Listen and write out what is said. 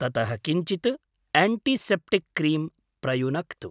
ततः किञ्चित् antiseptic cream प्रयुनक्तु।